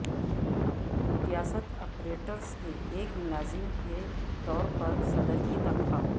ریاست اپریٹس کے ایک ملازم کے طور پر صدر کی تنخواہ